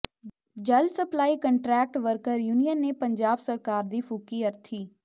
ਜਲ supply contract worker union ਨੇ ਪੰਜਾਬ ਸਰਕਾਰ ਦੀ ਫੂਕੀ ਅਰਥੀ